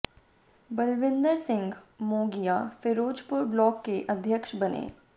Balwinder Singh Mogia Ferozepur block के अध्यक्ष बने